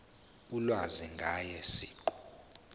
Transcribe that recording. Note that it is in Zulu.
ulwazi ngaye siqu